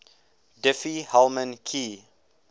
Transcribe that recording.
diffie hellman key